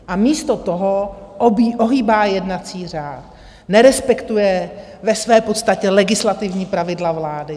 A místo toho ohýbá jednací řád, nerespektuje ve své podstatě legislativní pravidla vlády.